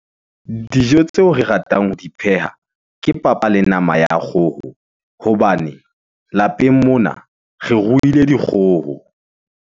Dijo tseo re ratang ho di pheha, ke papa le nama ya kgoho hobane lapeng mona re ruile dikgoho.